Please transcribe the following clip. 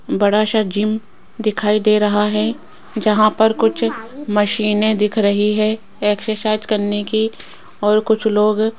बड़ा सा जिम दिखाई दे रहा है जहां पर कुछ मशीनें दिख रही है एक्सरसाइज करने की और कुछ लोग --